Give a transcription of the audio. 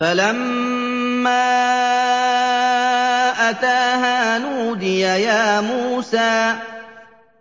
فَلَمَّا أَتَاهَا نُودِيَ يَا مُوسَىٰ